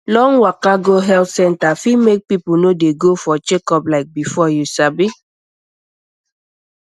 long waka go health center fit make people no dey go for checkup like before you sabi